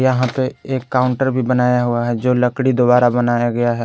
यहां पे एक काउंटर भी बनाया हुआ है जो लकड़ी द्वारा बनाया गया है।